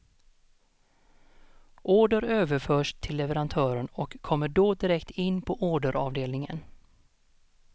Order överförs till leverantören och kommer då direkt in på orderavdelningen.